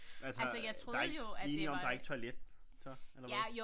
Altså der ikke vi enige om der ikke toilet så eller hvad